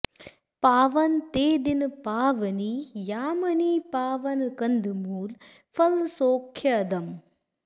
पावन ते दिन पावनी यामिनी पावन कन्दमूल फल सौख्यदम्